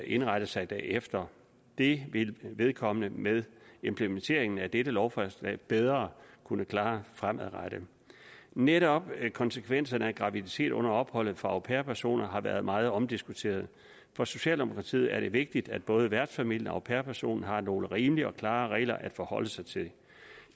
indrette sig derefter det vil vedkommende med implementeringen af dette lovforslag bedre kunne klare fremadrettet netop konsekvenserne af graviditet under opholdet for au pair personer har været meget omdiskuteret for socialdemokratiet er det vigtigt at både værtsfamilien og au pair personen har nogle rimelige og klare regler at forholde sig til